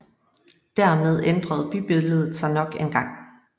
Dermed ændrede bybilledet sig nok engang